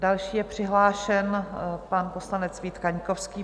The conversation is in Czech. Další je přihlášen pan poslanec Vít Kaňkovský.